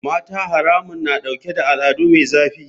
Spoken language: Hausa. Mata haramun na dauke da al'ada mai zafi.